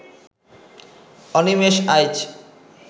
Animesh Aich